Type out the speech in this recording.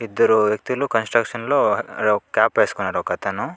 ఇద్దరు వ్యక్తులు కన్స్ట్రక్షన్ లో ఒక కాప్ ఏస్కున్నారు ఒక అతను.